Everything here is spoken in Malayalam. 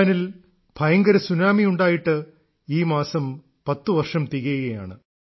ജപ്പാനിൽ ഭയങ്കര സുനാമിയുണ്ടായിട്ട് ഈ മാസം 10 വർഷം തികയുകയാണ്